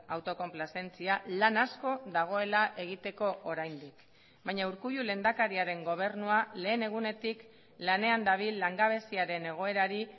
autokonplazentzia lan asko dagoela egiteko oraindik baina urkullu lehendakariaren gobernua lehen egunetik lanean dabil langabeziaren egoerari